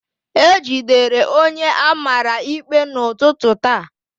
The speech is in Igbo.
E jidere onye a mara ikpe n'ụtụtụ taa